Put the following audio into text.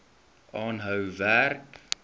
aanhou werk